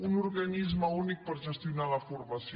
un organisme únic per gestionar la formació